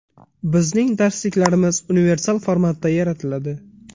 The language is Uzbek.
Bizning darsliklarimiz universal formatda yaratiladi.